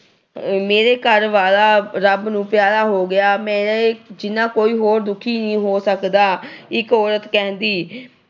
ਮੇਰੇ ਘਰ ਵਾਲਾ ਰੱਬ ਨੂੰ ਪਿਆਰਾ ਹੋ ਗਿਆ। ਮੇਰੇ ਜਿੰਨਾ ਕੋਈ ਹੋਰ ਕੋਈ ਦੁੱਖੀ ਨਹੀਂ ਹੋ ਸਕਦਾ। ਇੱਕ ਔਰਤ ਕਹਿੰਦੀ